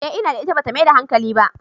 Eh ina da ita, ba ta maida hankali ba.